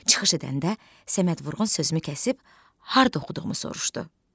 Çıxış edəndə Səməd Vurğun sözümü kəsib harda oxuduğumu soruşdu.